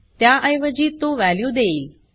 त्याऐवजी तो वॅल्यू देईल